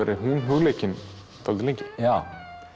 verið hún hugleikin dálítið lengi já